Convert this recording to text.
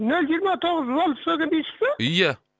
нөл жиырма тоғыз фольксваген дейсіз ба ия